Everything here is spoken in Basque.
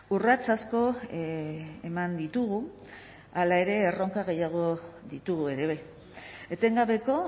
urrats asko eman ditugu hala ere erronka gehiago ditugu ere be etengabeko